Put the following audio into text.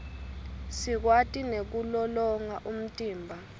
sikwati nekulolonga umtimba